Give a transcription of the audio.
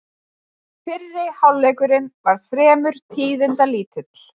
Fyrri hálfleikurinn var fremur tíðindalítill